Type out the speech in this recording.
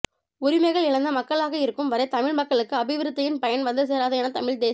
உரிமைகள் இழந்த மக்களாக இருக்கும் வரை தமிழ் மக்களுக்கு அபிவிருத்தியின் பயன் வந்து சேராது என தமிழ் தேச